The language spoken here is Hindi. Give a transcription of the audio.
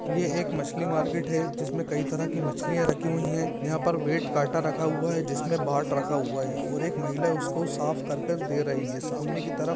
ये एक मछली मार्केट है जिसमे कई तरह की मछलियां रखी हुई है यहां पर वेट कांटा रखा हुआ हैजिसमे बाट रखा हुआ है और एक महिला उसको साफ करके दे रही है सामने की तरफ़--